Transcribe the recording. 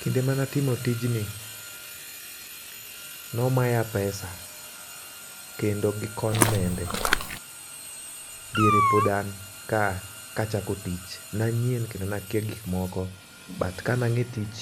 kinde mana timo tijni nomaya pesa kendo gi konmende .Diere pod an kaa kachako tich nanyien kendo nakia gik moko but kana ng'e tich